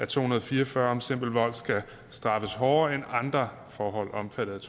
to hundrede og fire og fyrre om simpel vold skal straffes hårdere end andre forhold omfattet af